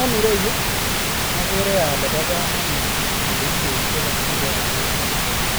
En ireyu okere ole bokomonut kerichek chekokiboruech en yu